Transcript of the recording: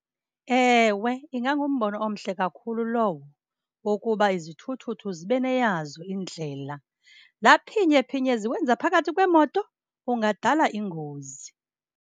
Ewe, ingangumbono omhle kakhulu lowo wokuba izithuthuthu zibe neyazo indlela. Laa phinye phinye ziwenza phakathi kweemoto ungadala ingozi.